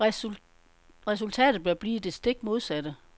Resultatet bør blive det stik modsatte.